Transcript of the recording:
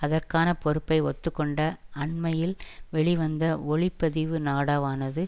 அதற்கான பொறுப்பை ஒத்துக்கொண்ட அண்மையில் வெளிவந்த ஒளிப்பதிவு நாடாவானது